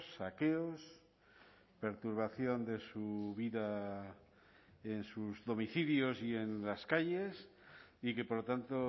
saqueos perturbación de su vida en sus domicilios y en las calles y que por lo tanto